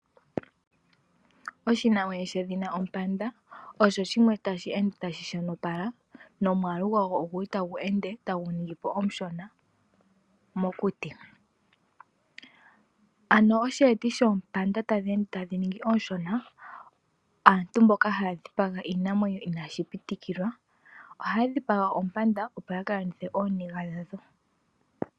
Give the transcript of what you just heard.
Oshinamwenyo shedhina ompanda osha osho shimwe tashi ende tashi shonopala nowaalugwago oguli tagu ende tagu ningi po omushona mokuti. Ano oshi eti shoompanda tadhi ende tadhi ningi po oonshona, aantu mboka haya dhipaga iinamwenyo inaashipitikwa, ohaya dhipaga oompanda opo yaka landithe ooniga dhadho.